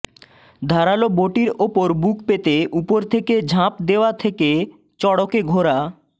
ধারালো বটির উপর বুক পেতে উপর থেকে ঝাঁপ দেওয়া থেকে চড়কে ঘোরা